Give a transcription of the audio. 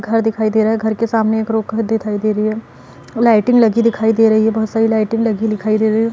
घर दिखाई दे रहा है घर के सामने एक रोखड़ रोड दिखाई दे रही है लाइटिंग लगी दिखाई दे रही है बहुत सारी लाइटिंग लगी दिखाई दे रही है।